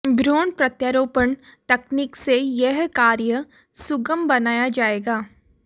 भ्रूण प्रत्यारोपण तकनीक से यह कार्य सुगम बनाया जाएगा